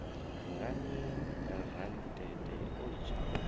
ngani rantete o litsha u